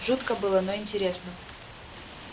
жутко было но и интересно